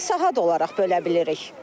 Sadəcə saat olaraq bölə bilirik.